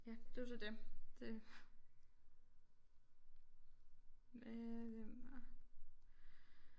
Ja det er jo så det det med hvem var